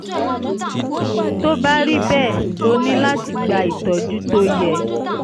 tó bá rí bẹ́ẹ̀ o ní láti gba ìtọ́jú tó yẹ